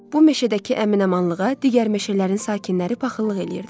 Bu meşədəki əminamanlığa digər meşələrin sakinləri paxıllıq eləyirdilər.